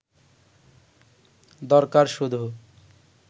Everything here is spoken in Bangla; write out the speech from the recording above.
দরকার শুধু